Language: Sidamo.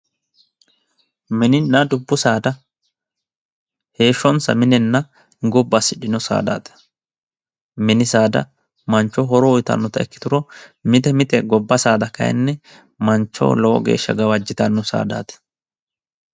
Mininna dubbu saada heeshshonsa minenna gobba assidhino saada, mini saada manchoho horo uytannota ikkitanna mite mite gobba saada kayiinni manchoho kayiinni lowo geeshsha gawajjitanno saadaati.